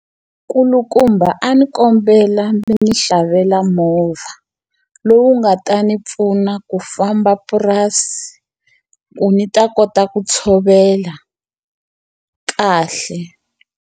Nkulukumba a ndzi kombela mi ndzi xavela movha, lowu nga ta ndzi pfuna ku famba purasi ku ndzi ta kota ku tshovela kahle.